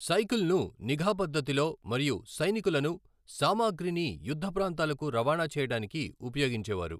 సైకిల్ను నిఘా పద్ధతిలో మరియు సైనికులను, సామాగ్రిని యుద్ధ ప్రాంతాలకు రవాణా చేయడానికి ఉపయోగించేవారు.